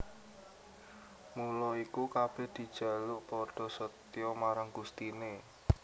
Mula iku kabèh dijaluk padha setyaa marang Gustine